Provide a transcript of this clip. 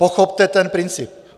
Pochopte ten princip!